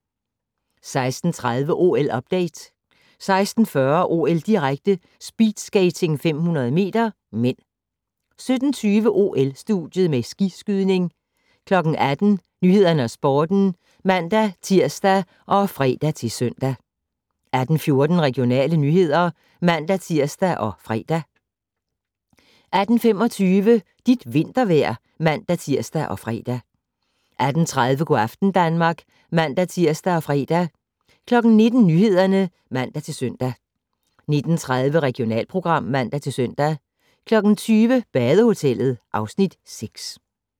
16:30: OL-update 16:40: OL-direkte: Speedskating 500 m (m) 17:20: OL-studiet med skiskydning 18:00: Nyhederne og Sporten (man-tir og fre-søn) 18:14: Regionale nyheder (man-tir og fre) 18:25: Dit vintervejr (man-tir og fre) 18:30: Go' aften Danmark (man-tir og fre) 19:00: Nyhederne (man-søn) 19:30: Regionalprogram (man-søn) 20:00: Badehotellet (Afs. 6)